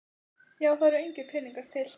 Já en það eru engir peningar til.